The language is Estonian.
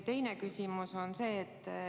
Teine küsimus on selline.